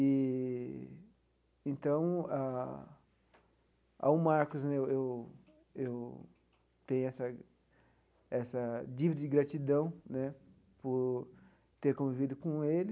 Eee então ah, ao Marcos né, eu eu eu tenho essa essa dívida de gratidão né por ter convivido com ele,